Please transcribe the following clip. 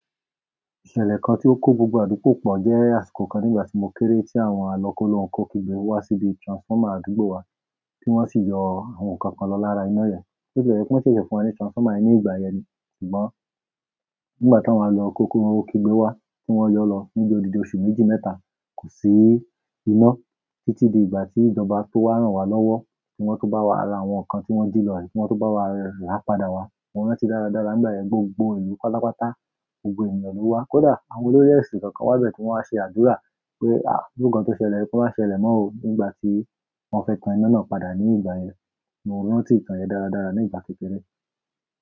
Ìṣẹ̀lẹ̀ kan tí ó kó gbogbo àdúgbò pọ̀ jẹ́ àsìkò kan nígbà tí mo kéré, tí àwọn àlọ kólohun kó kígbe wá síbi transformer àdúgbò wa tí wọ́n sì yọ àwọn nǹkan kan lọ lára iná yẹn. Bo tilẹ jẹ pe wọ́n ṣẹ̀ṣẹ̀ fún wa ní transformer ní ìgbà yẹn, ṣùgbọ́n nígbà tawọ́n alọkolohun kigbe wá, tí wọ́n yọ lọ níbi odidi oṣù méjì mẹ́ta, kò sí iná títí di ìgbà tí ìjọba tó wà ránwa lọ́wọ́ tí wọ́n tó bá wa ara àwọn nǹkan tí wọ́n ji lọ yìí tí wọ́n tó bá wa ra padà wá. Mo rántí dáradára nígbà yẹn, gbogbo ìlú pálapátá, gbogbo ènìyàn ló wá. Kódà àwọn olórí èsìn kọ̀ọ̀kan wá bẹ̀ tí wọ́n wá ṣe àdúrà pé, àá, iru nǹkan tó ṣẹlẹ̀ yìí kó má ṣe ṣẹlẹ̀ mọ́ òó nígbà tí wọ́n fẹ́ tan iná náà padà ní ìgbà yẹn. Mo rántí ìtàn yẹn dáradára ni ìgbà kékeré.